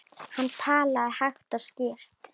Hann talaði hægt og skýrt.